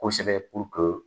Kosɛbɛ puruke